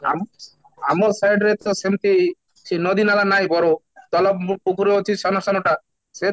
ଆମ ଆମ side ରେ ତ ସେମିତି ସେଇ ନଦୀ ନାଳ ନାହିଁ ସେଇ ପୋଖରୀ ଅଛି ସାନ ସାନଟା ସେ